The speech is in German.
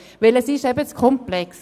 Denn es ist zu komplex.